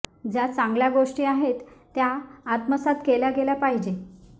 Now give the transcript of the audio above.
ज्या चांगल्या गोष्टी आहेत त्या आत्मसात केल्या गेल्या पाहिजे